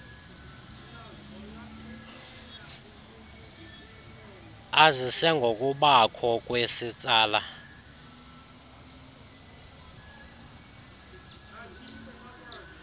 azise ngokubakho kwesitsala